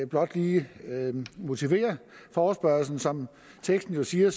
blot lige motivere forespørgslen som teksten jo siger